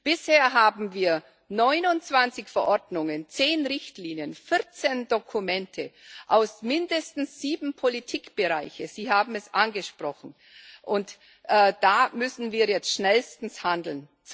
Bisher haben wir 29 Verordnungen, 10 Richtlinien, 14 Dokumente aus mindestens sieben Politikbereichen Sie haben es angesprochen und da müssen wir jetzt schnellstens handeln.